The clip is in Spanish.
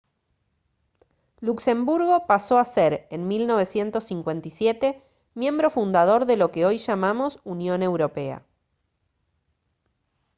luxemburgo pasó a ser en 1957 miembro fundador de lo que hoy llamamos unión europea